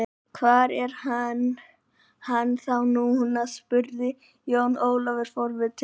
Hvar er hann þá núna spurði Jón Ólafur forvitinn.